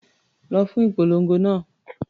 Lọ fún ìpolongo náà.